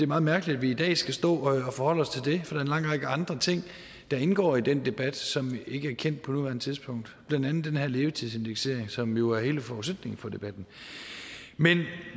meget mærkeligt at vi i dag skal stå og forholde os til det for en lang række andre ting der indgår i den debat som ikke er kendt på nuværende tidspunkt blandt andet den her levetidsindeksering som jo er hele forudsætningen for debatten men